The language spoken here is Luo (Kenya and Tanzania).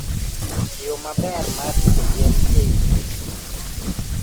yo maber mar rito yien ei tuoche